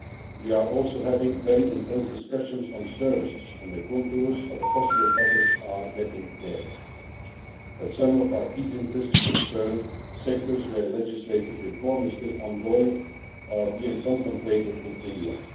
We are also having very intense discussions on services and the contours of a possible package are getting clearer, but some of our key interests concern sectors where legislative reform is still ongoing or being contemplated in India.